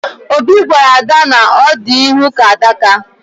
Obi gwara ada na ọ dị ihu ka adaka